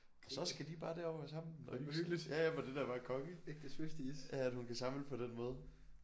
Så skal de bare derover sammen og hygge sig ja ja men det er da bare konge ja at hun kan samle på den måde